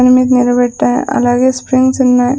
నిలబెట్టా అలాగే స్ప్రింగ్స్ ఉన్నాయ్.